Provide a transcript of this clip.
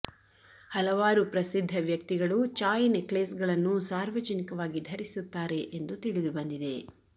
ಹಲವಾರು ಪ್ರಸಿದ್ಧ ವ್ಯಕ್ತಿಗಳು ಚಾಯ್ ನೆಕ್ಲೇಸ್ಗಳನ್ನು ಸಾರ್ವಜನಿಕವಾಗಿ ಧರಿಸುತ್ತಾರೆ ಎಂದು ತಿಳಿದುಬಂದಿದೆ